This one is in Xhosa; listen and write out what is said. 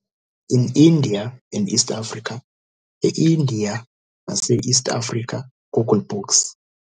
In India and East Africa E-Indiya Nase East Africa - Google Books